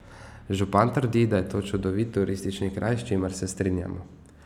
Župan trdi, da je to čudovit turistični kraj, s čimer se strinjam.